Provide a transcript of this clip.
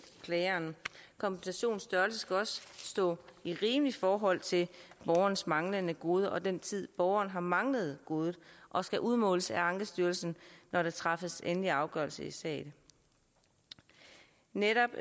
klageren kompensationens størrelse skal også stå i rimeligt forhold til borgerens manglende gode og den tid borgeren har manglet godet og skal udmåles af ankestyrelsen når der træffes endelig afgørelse i sagen netop